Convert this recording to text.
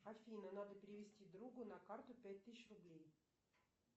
афина надо перевести другу на карту пять тысяч рублей